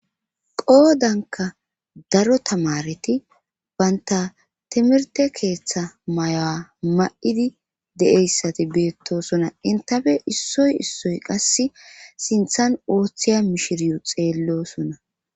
qoodanka daro tamareti baynta timirte keeththa mayaa ma7idi de7eyssati beettosona intafe issoy issoy qasse sinthan ooththiya mishiriyo xeellosona